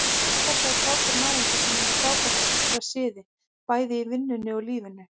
Þetta er frábær náungi sem er með frábæra siði, bæði í vinnunni og lífinu.